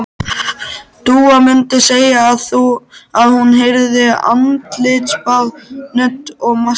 Dúa mundi segja að hún þyrfti andlitsbað, nudd og maska.